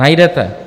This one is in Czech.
Najdete.